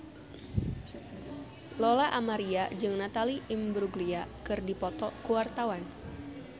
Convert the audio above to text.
Lola Amaria jeung Natalie Imbruglia keur dipoto ku wartawan